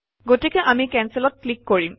গতিকে আমি কেনচেলত ক্লিক কৰিম